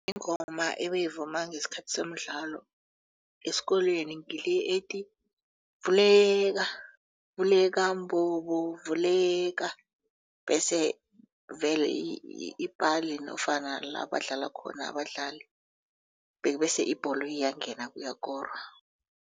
Ingoma ebeyivunywa ngesikhathi semidlalo esikolweni ngile ethi vuleka vuleka mbobo vuleka bese vele ipale nofana labadlala khona abadlali bese ibholo iyangena kuyakorwa.